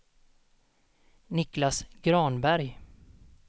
Niclas Granberg